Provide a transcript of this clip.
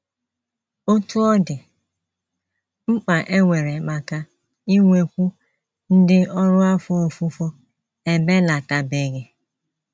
Otú ọ dị, mkpa e nwere maka inwekwu ndị ọrụ afọ ofufo ebelatabeghị.